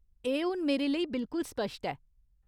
एह् हून मेरे लेई बिलकुल स्पश्ट ऐ।